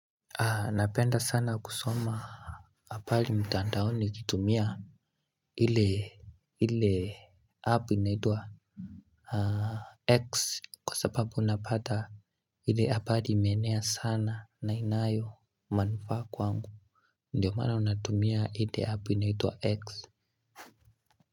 Napenda sana kusoma apari mtandaoni nikitumia ile app inaitwa X kwa sababu unapata ile apari imeenea sana na inayo manufaa kwangu. Ndiyo maana unatumia ile app inaitwa X.